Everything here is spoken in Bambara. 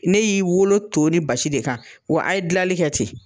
Ne y'i wolo to ni basi de kan wa a ye dilali kɛ ten.